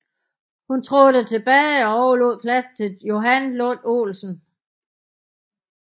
Hun trådte tilbage og overlod pladsen til Johan Lund Olsen